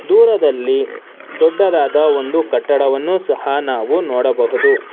ದೂರದಲ್ಲಿ ದೊಡ್ಡದಾದ ಒಂದು ಕಟ್ಟಡವನ್ನು ಸಹ ನಾವು ನೋಡಬಹುದು.